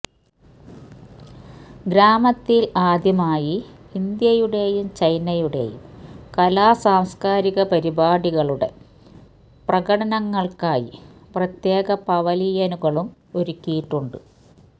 ഗ്രാമത്തില് ആദ്യമായി ഇന്ത്യയുടെയും ചൈനയുടെയും കലാസാംസ്കാരിക പരിപാടികളുടെ പ്രകടനങ്ങള്ക്കായി പ്രത്യേക പവലിയനുകളും ഒരുക്കിയിട്ടുണ്ട്